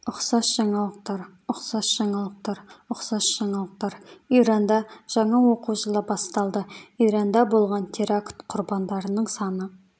ұқсас жаңалықтар ұқсас жаңалықтар ұқсас жаңалықтар иранда жаңа оқу жылы басталды иранда болған теракт құрбандарының саны